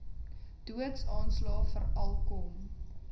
doodsaanslae veral kom